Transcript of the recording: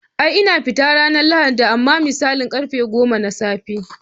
Ai ina fita ran lahadi amma misalin karfe goma na tsafe.